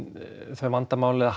þau vandamál eða